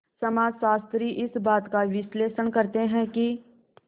समाजशास्त्री इस बात का विश्लेषण करते हैं कि